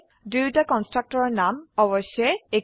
দুয়োটা কন্সট্ৰাকটৰৰ নাম অবশ্যই একেই